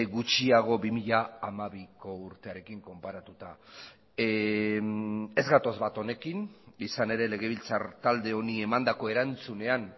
gutxiago bi mila hamabiko urtearekin konparatuta ez gatoz bat honekin izan ere legebiltzar talde honi emandako erantzunean